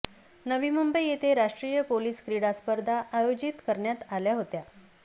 नवी मुंबई येथे राष्ट्रीय पोलीस क्रिडा स्पर्धा आयोजित करण्यात आल्या होत्या